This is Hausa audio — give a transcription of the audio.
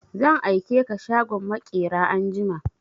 Zan aike ka shagon maƙera anjima!